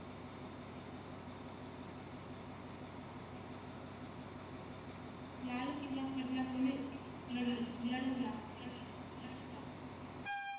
लाल किल्ला कोणी ल लढवला